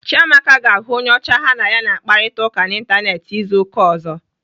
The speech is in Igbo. Chiamaka ga-ahụ onye ocha ha na ya na-akparịta ụka n'Ịntanetị izu ụka ọzọ.